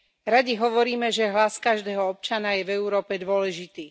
Radi hovoríme, že hlas každého občana je v Európe dôležitý.